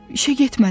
İşə getmədim.